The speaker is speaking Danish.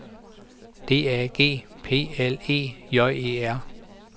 D A G P L E J E R